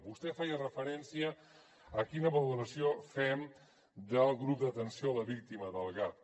vostè feia referència a quina valoració fem del grup d’atenció a la víctima del gav